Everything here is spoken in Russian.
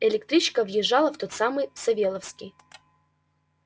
электричка въезжала в тот самый савёловский